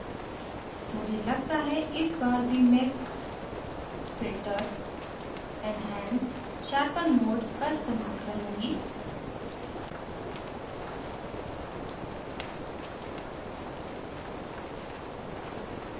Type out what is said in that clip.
मुझे लगता है इस बार भी मैं filters enhance sharpen mode का इस्तेमाल करुँगी